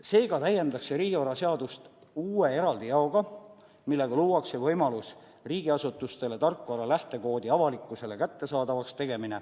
Seega täiendatakse riigivaraseadust uue eraldi jaoga, millega luuakse riigiasutustele võimalus tarkvara lähtekood avalikkusele kättesaadavaks teha.